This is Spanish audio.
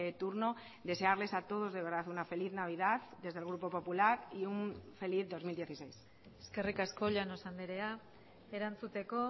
turno desearles a todos de verdad una feliz navidad desde el grupo popular y un feliz dos mil dieciséis eskerrik asko llanos andrea erantzuteko